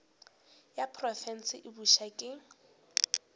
ya profense e bopša ke